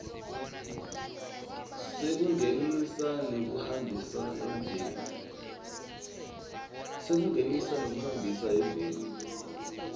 sekungenisa nekuhambisa eveni